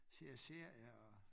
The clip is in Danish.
Ser serier og